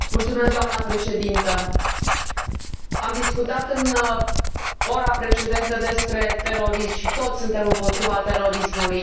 Doamnă președintă, am discutat în ora precedentă despre terorism și toți suntem împotriva terorismului.